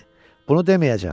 Bunu deməyəcəm.